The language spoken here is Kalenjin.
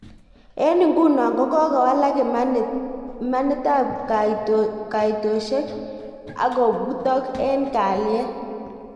En nguno ko kokowalak imanit ab kaotisiet ak kobutok en kalyet